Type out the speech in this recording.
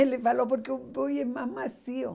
Ele falou porque o boi é mais macio.